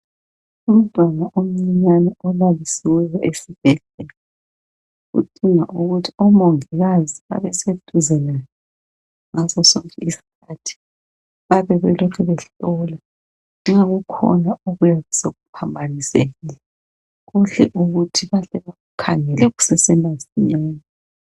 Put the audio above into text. Umntwana omncinyane olalisiweyo esibhedlela. Odinga ukuthi omongikazi babe seduze laye ngasosonke isikhathi babe belokhe behlola nxa kukhona okuyabe sekuphambanisekile kuhle ukuthi bahle bamkhangele kusesemasinyane.